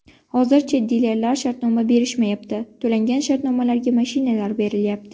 Hozircha dilerlar shartnoma berishmayapti, to‘langan shartnomalarga mashinalar berilyapti.